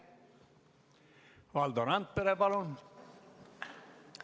Valdo Randpere, palun!